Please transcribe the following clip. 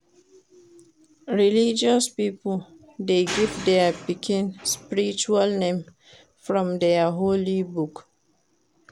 Religious pipo de give their pikin spiritual name from their Holy Book